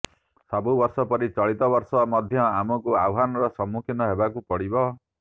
ସବୁବର୍ଷ ପରି ଚଳିତ ବର୍ଷ ମଧ୍ୟ ଆମକୁ ଆହ୍ୱାନର ସମ୍ମୁଖୀନ ହେବାକୁ ପଡ଼ିବ